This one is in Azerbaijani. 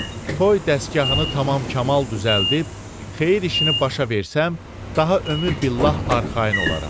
Toy dəstgahını tamam-kamal düzəldib, xeyir işini başa versəm, daha ömür billah arxayın olaram.